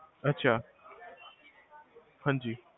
ਅਛਾ, ਹਾਂਜੀ